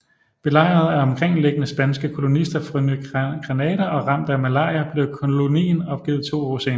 Belejret af omkringliggende spanske kolonister fra Ny Granada og ramt af malaria blev kolonien opgivet to år senere